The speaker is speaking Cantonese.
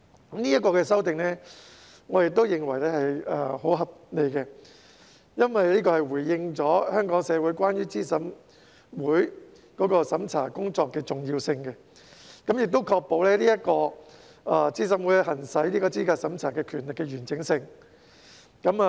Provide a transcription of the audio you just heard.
我認為這項修訂十分合理，因為這反映了資審會審查工作的重要性，並確保資審會行使資格審查權力的完整性。